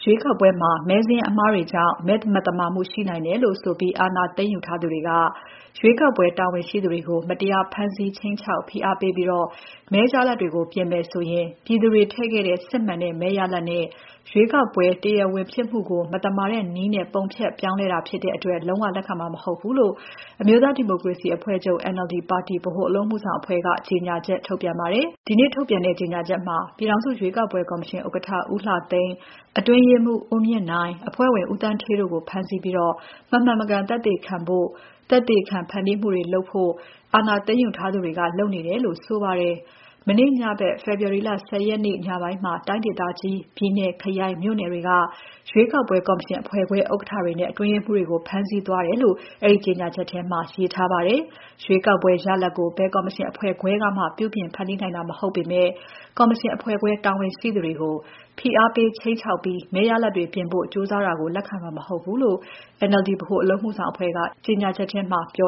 ွေးကောက်ပွဲမှာ မဲစာရင်းအမှားတွေကြောင့် မဲမသမာမှု ရှိနိုင်တယ်လို့ဆိုပြီး အာဏာသိမ်းယူထားသူတွေက ရွေးကောက်ပွဲတာဝန်ရှိသူတွေကို မတရား ဖမ်းဆီး ခြိမ်းခြောက် ဖိအားပေးပြီး မဲရလာဒ်တွေကို ပြင်မယ်ဆိုရင် ပြည်သူတွေထည့်ခဲ့တဲ့ စစ်မှန်တဲ့ မဲရလာဒ်နဲ့ ရွေးကောက်ပွဲ တရားဝင်ဖြစ်မှုကို မသမာတဲ့နည်းနဲ့ ပုံဖျက်ပြောင်းလဲတာဖြစ်တဲ့အတွက် လုံးဝ လက်ခံမှာ မဟုတ်ဘူးလို့ အမျိုးသားဒီမိုကရေစီအဖွဲ့ NLD ပါတီ ဗဟိုအလုပ်အမှုဆောင်အဖွဲ့က ကြေညာချက် ထုတ်ပြန်ပါတယ်။ ဒီနေ့ ထုတ်ပြန်တဲ့ ကြေညာချက်မှာ ပြည်ထောင်စုရွေးကောက်ပွဲကော်မရှင်ဥက္ကဋ္ဌ ဦးလှသိန်း၊ အတွင်းရေးမှူး ဦးမြင့်နိုင်၊ အဖွဲ့ဝင် ဦးသန်းဌေးတို့ကို ဖမ်းဆီးပြီး မမှန်မကန် သက်သေခံဖို့ မမှန်သက်သေခံ ဖန်တီးမှုတွေလုပ်ဖို့ အာဏာသိမ်းယူထားသူတွေက လုပ်နေတယ်လို့ ဆိုပါတယ်။ မနေ့ညဖက် ဖေဖော်ဝါရီလ ၁၀ ရက်နေ့ ညပိုင်းမှာ တိုင်းဒေသကြီး၊ ပြည်နယ်၊ ခရိုင် မြို့နယ်တွေက ရွေးကောက်ပွဲ ကော်မရှင်အဖွဲ့ခွဲ ဥက္ကဋ္ဌတွေနဲ့ အတွင်းရေးမှူးတွေကို ဖမ်းဆီးသွားတယ်လို့ အဲဒီကြောငြာချက်ထဲမှာ ရေးထားပါတယ်။ ရွေးကောက်ပွဲ ရလာဒ်ကို ဘယ်ကော်မရှင် အဖွဲ့ခွဲကမှ ပြုပြင် ဖန်တီးနိုင်တာ မဟုတ်ပေမဲ့ ကော်မရှင်အဖွဲ့ခွဲတာဝန်ရှိသူတွေကို ဖိအားပေး ခြိမ်းခြောက်ပြီး မဲရလာဒ်တွေ ပြင်ဖို့ ကြိုးစားတာကို လက်ခံမှာ မဟုတ်ဘူးလို့ NLD ဗဟိုအလုပ်အမှုဆောင်အဖွဲ့က ကြေညာချက် ထုတ်ပြ